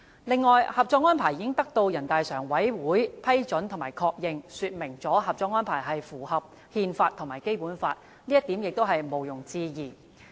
此外，《合作安排》已得到人大常委會批准和確認，說明《合作安排》符合憲法和《基本法》，這點毋庸置疑。